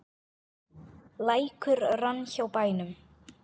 Lækur rann hjá bænum.